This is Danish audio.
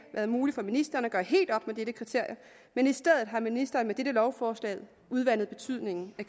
været muligt for ministeren at gøre helt op med det kriterie men i stedet har ministeren med dette lovforslag udvandet betydningen af